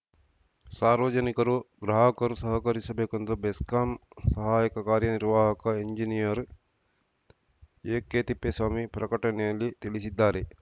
ಸಾರ್ವಜನಿಕರು ಗ್ರಾಹಕರು ಸಹಕರಿಸಬೇಕೆಂದು ಬೆಸ್ಕಾಂ ಸಹಾಯಕ ಕಾರ್ಯ ನಿರ್ವಾಹಕ ಎಂಜಿನಿಯರ್‌ ಎಕೆತಿಪ್ಪೇಸ್ವಾಮಿ ಪ್ರಕಟಣೆಯಲ್ಲಿ ತಿಳಿಸಿದ್ದಾರೆ